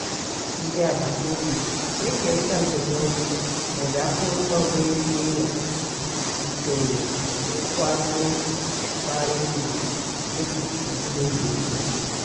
ndị agbata obi na-ekerịta ndụmọdụ ma ọ bụ akụrụngwa nwere ike ịghọ usoro nkwado bara uru dịka èzinùlọ̀ ùkwù.